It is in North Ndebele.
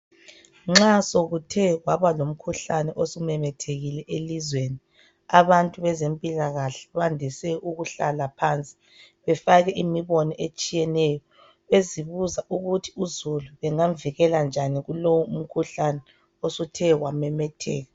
Nxa sekuthe kwabalomkhuhlane osumemethekile elizweni abantu bezempilakahle bandise ukuhlala phansi befake imibono etshineyeyo bezibuza ukuthi uzulu bengamvikela kanjani kulowu umkhuhlane usuthe wamemetheka.